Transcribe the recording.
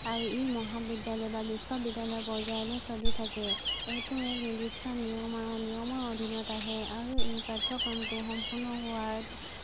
আৰু ই মহাবিদ্যালয় বা বিশ্ববিদ্যালয় পৰ্যায়লৈ চলি থাকে, এইটো এক নিৰ্দিষ্ট নিয়ম আৰু নিয়মাৱলীৰ অধিনত আহে আৰু এই পাঠ্যক্ৰমটো সম্পূৰ্ণ হোৱাত